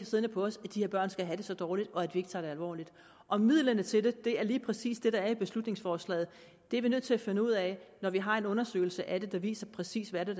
siddende på os at de her børn skal have det så dårligt og at vi ikke tager det alvorligt og midlerne til det er lige præcis det der er i beslutningsforslaget det er vi nødt til at finde ud af når vi har en undersøgelse af det der viser præcis hvad det